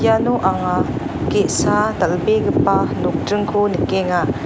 iano anga ge·sa dal·begipa nokdringko nikenga.